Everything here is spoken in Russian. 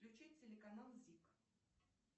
включить телеканал зик